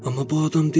Amma bu adam deyil.